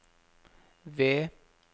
V